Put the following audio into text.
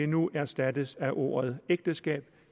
nu erstattes af ordet ægteskab